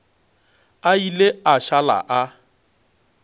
a ile a šala a